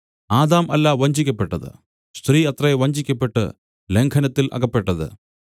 Adam അല്ല വഞ്ചിക്കപ്പെട്ടത് സ്ത്രീ അത്രേ വഞ്ചിക്കപ്പെട്ട് ലംഘനത്തിൽ അകപ്പെട്ടത്